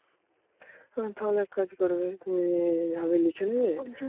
তাহলে এক কাজ করবে তুমি আগে লিখে নেবে